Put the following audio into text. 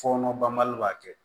Fɔɔnɔ banbali b'a kɛ